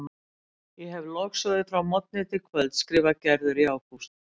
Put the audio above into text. Ég hefi logsoðið frá morgni til kvölds skrifar Gerður í ágúst.